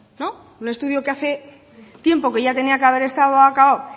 no un estudio que hace tiempo que ya tenía que haber estado acabado